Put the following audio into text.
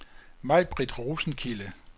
Majbrit Rosenkilde